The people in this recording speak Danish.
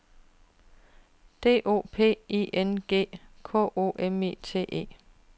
D O P I N G K O M I T é